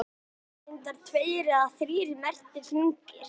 Það eru reyndar tveir eða þrír merktir hringir.